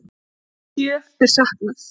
Sjö er saknað.